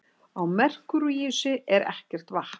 Á Merkúríusi er ekkert vatn.